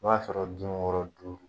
O b'a sɔrɔ dun dun kɔrɔ duuru.